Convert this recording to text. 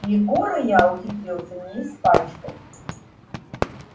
егора я ухитрился не испачкать